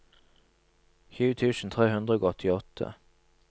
tjue tusen tre hundre og åttiåtte